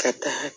Ka taa